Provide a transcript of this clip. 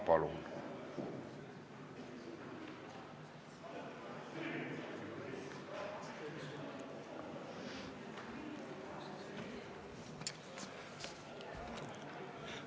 Palun!